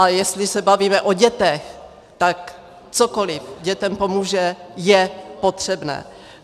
A jestli se bavíme o dětech, tak cokoli dětem pomůže, je potřebné.